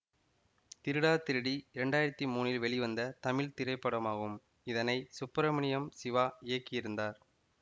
திருடா திருடி இரண்டாயிரத்தி மூனில் வெளிவந்த தமிழ் திரைப்படமாகும் இதனை சுப்பிரமணியம் சிவா இயக்கியிருந்தார்